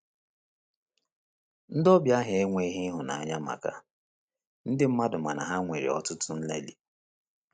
Ndị ọbịa ahụ enweghị ịhụnanya maka ndị mmadụ mana ha nwere ọtụtụ nlelị.